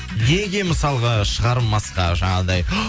неге мысалға шығармасқа жаңағыдай